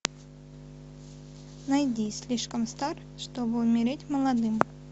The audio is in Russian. найди слишком стар чтобы умереть молодым